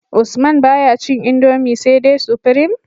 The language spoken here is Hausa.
Usman baya cin indomie sai dai supreme